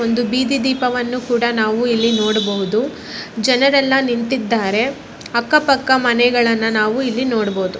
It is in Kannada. ಒಂದು ಬೀದಿ ದೀಪವನ್ನು ಕೂಡಾ ನಾವು ಇಲ್ಲಿ ನೋಡಬಹುದು ಜನರೆಲ್ಲಾ ಇಲ್ಲಿ ನಿಂತಿದ್ದಾರೆ ಅಕ್ಕಪಕ್ಕ ಮನೆಗಳನ್ನ ನಾವು ಇಲ್ಲಿ ನೋಡಬಹುದು.